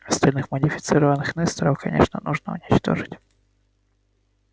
остальных модифицированных несторов конечно нужно уничтожить